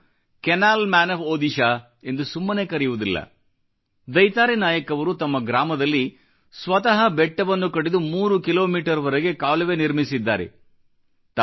ಅವರನ್ನು canal man of Odishaಎಂದು ಸುಮ್ಮನೆ ಕರೆಯುವುದಿಲ್ಲ ದೈತಾರಿ ನಾಯಕ್ ಅವರು ತಮ್ಮ ಗ್ರಾಮದಲ್ಲಿ ಸ್ವತಃ ಬೆಟ್ಟವನ್ನು ಕಡಿದು 3 ಕಿಮೀ ವರೆಗೆ ಕಾಲುವೆ ನಿರ್ಮಿಸಿದ್ದಾರೆ